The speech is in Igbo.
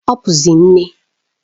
Ọ bụzi nne.